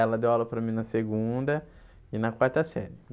Ela deu aula para mim na segunda e na quarta série.